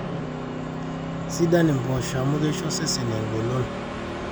sidan impoosho ama keisho osesen eng'olon